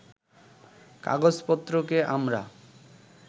কাগজপত্রকে আমরা